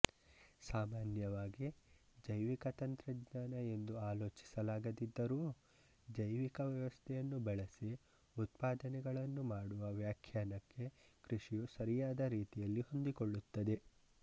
ಸಾಮಾನ್ಯವಾಗಿ ಜೈವಿಕ ತಂತ್ರಜ್ಞಾನ ಎಂದು ಆಲೋಚಿಸಲಾಗದಿದ್ದರೂ ಜೈವಿಕ ವ್ಯವಸ್ಥೆಯನ್ನು ಬಳಸಿ ಉತ್ಪಾದನೆಗಳನ್ನು ಮಾಡುವ ವ್ಯಾಖ್ಯಾನಕ್ಕೆ ಕೃಷಿಯು ಸರಿಯಾದ ರೀತಿಯಲ್ಲಿ ಹೊಂದಿಕೊಳ್ಳುತ್ತದೆ